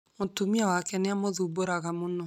Mũtumia wake nĩ amũthumbũraga mũno